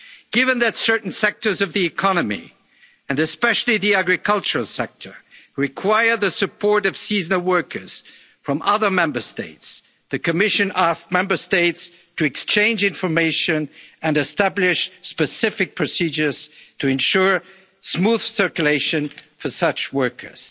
mobile workers. Given that certain sectors of the economy, and especially the agricultural sector, require the support of seasonal workers from other Member States, the Commission asked Member States to exchange information and establish specific procedures to ensure smooth circulation